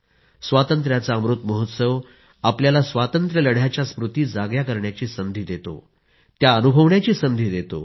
स्वातंत्र्याचा अमृत महोत्सव आपल्याला स्वातंत्र्यलढ्याच्या स्मृति जाग्या करण्याची संधी देतो त्या अनुभवण्याची संधी देतो